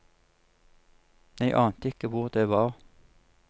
Jeg ante ikke hvor det var.